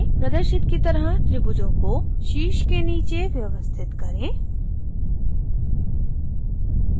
प्रदर्शित की तरह त्रिभुजों को शीर्ष के नीचे व्यवस्थित करें